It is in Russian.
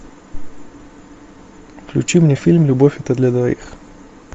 включи мне фильм любовь это для двоих